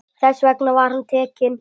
Þess vegna var hann tekinn.